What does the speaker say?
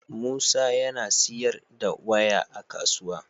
Musa yAna siyar da waya a kasuwa